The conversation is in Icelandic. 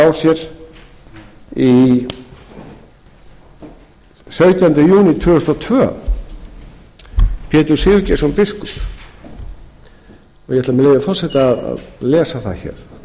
sér sautjánda júní tvö þúsund og tvö pétur sigurgeirsson biskup og ég ætla með leyfi forseta að lesa það hér